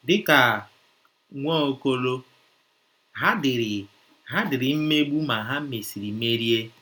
* Dị ka Nwaokolo, ha diri, ha diri mmegbu ma ha mesịrị merie.